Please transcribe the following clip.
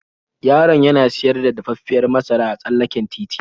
Yaron yana siyar da dafaffiyar masara a tsallaken titi.